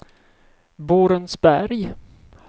Borensberg